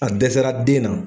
A dɛsɛra den na.